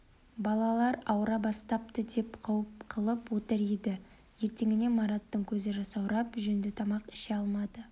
балалар ауыра бастапты деп қауіп қылып отыр еді ертеңіне мараттың көзі жасаурап жөнді тамақ іше алмады